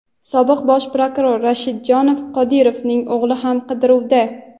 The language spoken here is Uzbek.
Sobiq bosh prokuror Rashidjon Qodirovning o‘g‘li hamon qidiruvda.